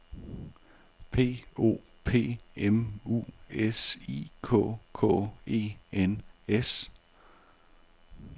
P O P M U S I K K E N S